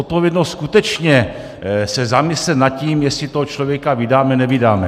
Odpovědnost skutečně se zamyslet nad tím, jestli toho člověka vydáme, nevydáme.